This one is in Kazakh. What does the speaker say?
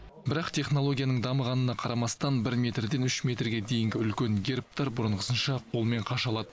бірақ технологияның дамығанына қарамастан бір метрден үш метрге дейінгі үлкен гербтар бұрынғысынша қолмен қашалады